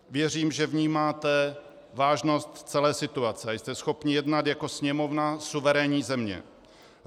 Věřím, že vnímáte vážnost celé situace a jste schopni jednat jako Sněmovna suverénní země.